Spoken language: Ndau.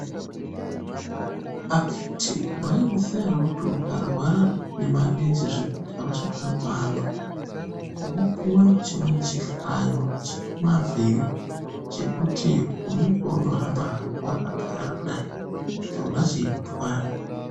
Akhiti maizviziva ere kuti ukarwara nemarenje zvekuti hauchakoni kuhamba, unopuve chimweni chihlayo chemavhiri, chekuti unenge weindohamba hako wakagara kudai chona cheikutwara.